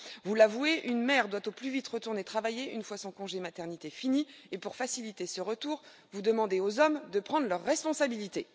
Vous l'avouez une mère doit au plus vite retourner travailler à la fin de son congé de maternité. Et pour faciliter ce retour, vous demandez aux hommes de prendre leurs responsabilités.